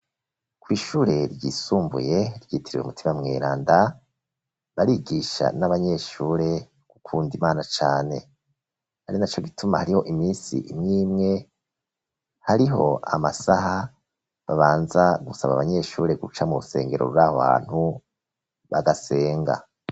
Kwishure ryisumbuye rigitiriwe umutima Mwiranda barigisha n'abanyeshure gukunda imana cane hari na co gituma hariho iminsi imwimwe hariho amasaha babanza gusaba abanyeshure guca mu rusengero bw'abantu bagasenga.